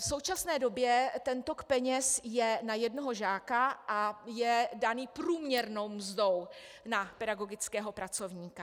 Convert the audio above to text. V současné době ten tok peněz je na jednoho žáka a je daný průměrnou mzdou na pedagogického pracovníka.